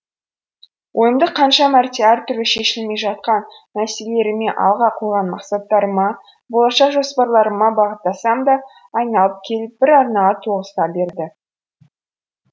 ойымды қанша мәрте әр түрлі шешілмей жатқан мәселелеріме алға қойған мақсаттарыма болашақ жоспарларыма бағыттасам да айналып келіп бір арнаға тоғыса берді